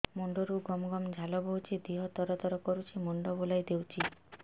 ମୁଣ୍ଡରୁ ଗମ ଗମ ଝାଳ ବହୁଛି ଦିହ ତର ତର କରୁଛି ମୁଣ୍ଡ ବୁଲାଇ ଦେଉଛି